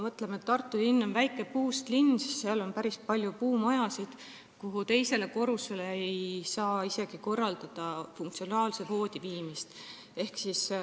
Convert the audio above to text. Tartu on väike puust linn, seal on päris palju puumaju, mille teisele korrusele ei saa viia isegi funktsionaalset voodit.